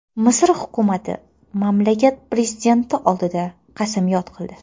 Misr hukumati mamlakat prezidenti oldida qasamyod qildi.